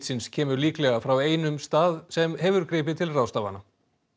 smitsins kemur líklega frá einum stað sem hefur gripið til ráðstafana